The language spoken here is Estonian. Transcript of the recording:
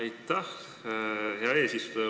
Aitäh, hea eesistuja!